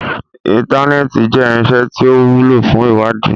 Intanẹẹti jẹ irinṣẹ ti o wulo fun iwadii